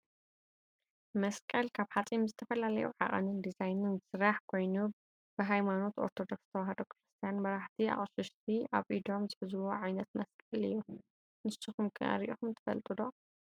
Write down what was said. መስቀል ካብ ሓፂን ብዝተፈላለዩ ዓቀንን ዲዛይንን ዝስራሕ ኮይኑ ብሃይማኖት ኦርቶዶክስ ተዋህዶ ክርስትያን መራሕቲ ኣቅሽሽቲ ኣብ ኢዶም ዝሕዝዎ ዓይነት መስቀል እዩ። ንስኩም ከ ሪኢኩም ትፈልጡ'ዶ?